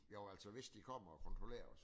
Jo altså hvis de kommer og kontrollerer os